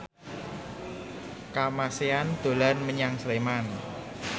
Kamasean dolan menyang Sleman